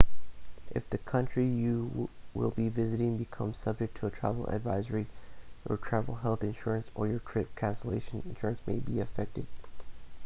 if the country you will be visiting becomes subject to a travel advisory your travel health insurance or your trip cancellation insurance may be affected